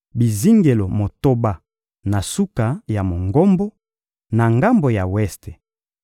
bizingelo motoba na suka ya Mongombo, na ngambo ya weste,